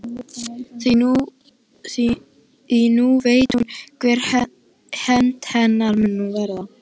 Því nú veit hún hver hefnd hennar mun verða.